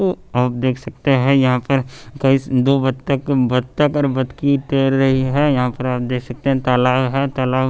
तो आप देख सकते हैं यहां पर कही दो बत्तक बत्तक और बत्तकी तैर रही है यहां पर आप देख सकते हैं तालाब है तालाब--